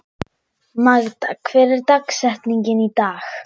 Magda, hver er dagsetningin í dag?